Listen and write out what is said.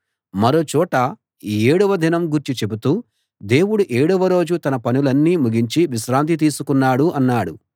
మరో చోట ఏడవ దినం గూర్చి చెబుతూ దేవుడు ఏడవ రోజు తన పనులన్నీ ముగించి విశ్రాంతి తీసుకున్నాడు అన్నాడు